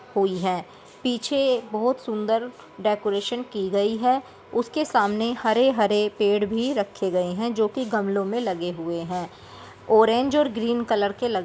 हुई है पीछे बहुत सुंदर डेकोरेशन की गई है उसके सामने हरे-हरे पेड़ भी रखे गए हैं जो कि गमलों मे लगे हुए हैं ऑरेंज और ग्रीन कलर के ल--